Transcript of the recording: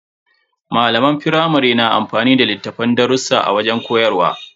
Malaman firamare na amfani da littafin darrusa a wajen koyarwa.